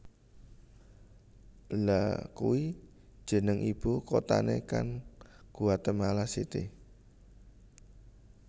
Lha kui jeneng ibu kotane kan Guatemala City